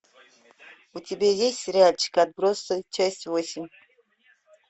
у тебя есть сериальчик отбросы часть восемь